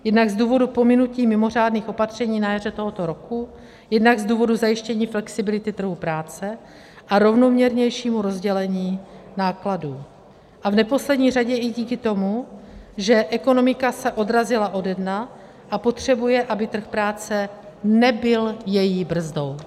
Jednak z důvodu pominutí mimořádných opatření na jaře tohoto roku, jednak z důvodu zajištění flexibility trhu práce a rovnoměrnějšímu rozdělení nákladů, a v neposlední řadě i díky tomu, že ekonomika se odrazila ode dna a potřebuje, aby trh práce nebyl její brzdou.